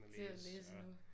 Til at læse endnu